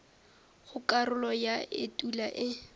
go karolo ya etulo e